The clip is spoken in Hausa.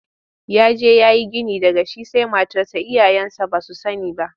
Ya je ya yi gini daga shi sai matarsa iyayensa ba su sani ba.